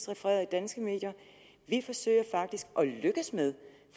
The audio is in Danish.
refereret i danske medier vi forsøger faktisk og vi lykkes med